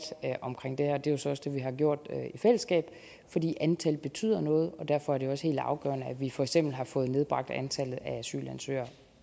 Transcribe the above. om det her det er jo så også det vi har gjort i fællesskab fordi antal betyder noget og derfor er det også helt afgørende at vi for eksempel har fået nedbragt antallet af asylansøgere